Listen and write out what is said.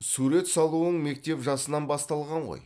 сурет салуың мектеп жасынан басталған ғой